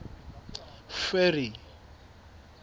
ferry